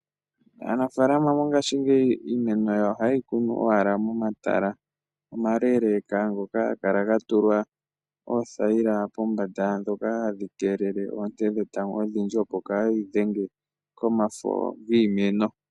Aanafalaama mongashingeyi iimeno yawo ohaye yi kunu owala momatala omaleeleeka ngoka haga kala ga tulwa oothayila pombanda ndhoka hadhi keelele oonte dhetango odhindji, opo kaadhi dhenge komafo giimeno.